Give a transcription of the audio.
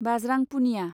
बाज्रां Punia